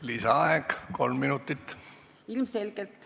Lisaaeg kolm minutit.